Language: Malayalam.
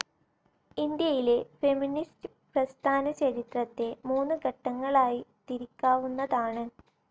ഇന്ത്യയിലെ ഫെമിനിസ്റ്റ്‌ പ്രസ്ഥാനചരിത്രത്തെ മൂന്ന് ഘട്ടങ്ങളായി തിരിക്കാവുന്നതാണ്.